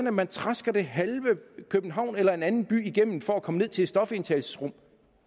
at man trasker det halve københavn eller en anden by igennem for at komme ned til et stofindtagelsesrum